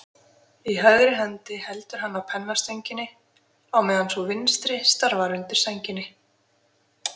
Í hægri hendi heldur hann á pennastönginni, á meðan sú vinstri starfar undir sænginni.